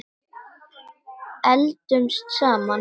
Eldumst saman.